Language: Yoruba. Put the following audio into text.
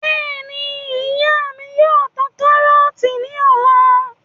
Bẹ́ẹ̀ni, ìyá mí yóò ta karọọti ní ọ̀la